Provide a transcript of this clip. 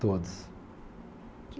Todos.